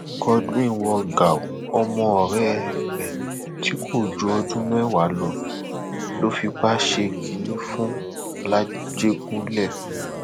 godwin wọ gàù ọmọ ọrẹ ẹ tí kò ju ọdún mẹwàá lọ fipá ṣe kínní fún làjẹgúnlẹ